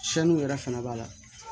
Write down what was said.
Siyanniw yɛrɛ fana b'a la